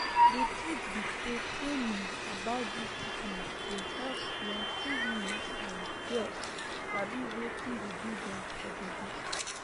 di truth be say training about dis sickness go help plenty women and girls sabi wetin dey do dem for bodi